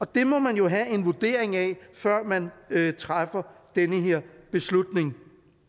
det må man jo have en vurdering af før man træffer den her beslutning